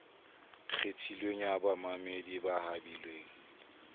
kgethilweng ya bamamedi ba habilweng